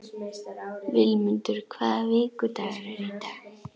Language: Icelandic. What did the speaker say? Vilmundur, hvaða vikudagur er í dag?